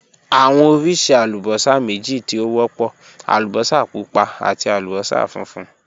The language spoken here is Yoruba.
Awọn oriṣi alubosa meji ti o wọpọ: alubosa pupa ati alubosa funfun.